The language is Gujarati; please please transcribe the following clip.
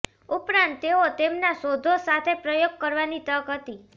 ઉપરાંત તેઓ તેમના શોધો સાથે પ્રયોગ કરવાની તક હતી